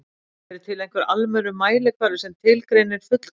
Er til einhver almennur mælikvarði sem tilgreinir fullkomnun?